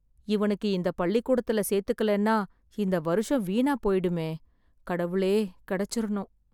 இவனுக்கு இந்த பள்ளிக்கூடத்துல சேத்துக்கலேன்னா இந்த வருஷம் வீணாப்போய்டுமே, கடவுளே கிடைச்சுரணும்.